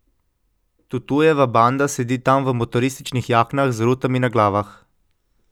Tutujeva banda sedi tam v motorističnih jaknah z rutami na glavah.